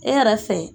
E yɛrɛ fɛ